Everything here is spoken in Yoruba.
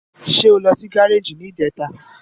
Ṣé o lọ sí gáràjì ní ìjẹta?